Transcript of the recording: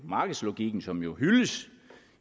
markedslogikken som jo hyldes